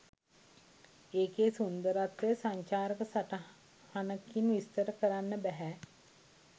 එකේ සුන්දරත්වය සංචාරක සටහනකින් විස්තර කරන්න බැහැ